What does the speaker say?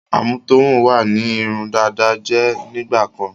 Àmútọ̀run wá ní irun dada jẹ́ nígbàkan.